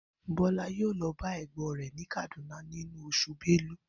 Bó̩lá yóò lo̩ ba è̩gbó̩n rè̩ ní Kánádà nínú os̩ù Belu